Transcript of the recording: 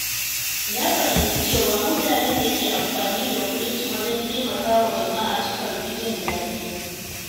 Na fahimci cewa mutanen da ke amfani da kuɗinsu wajen taimakawa jama'a sukan fi jin daɗi.